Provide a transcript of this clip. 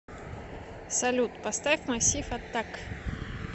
салют поставь массив атак